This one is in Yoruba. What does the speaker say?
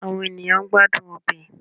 Awọn eniyan n gbadun ọbẹ